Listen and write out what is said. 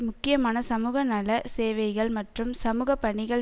முக்கியமான சமூகநல சேவைகள் மற்றும் சமூக பணிகள்